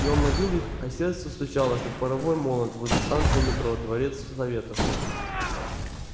и он ловил их а сердце стучало как паровой молот возле станции метро дворец советов